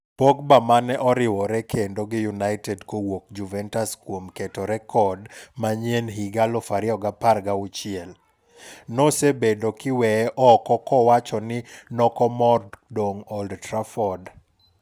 Pogba mane oriwore kendo gi United kowuok Juventus kuom keto rekod manyien higa 2016 , nosebedo kiweye oko kowacho ni nokomor dong' Old Trafford.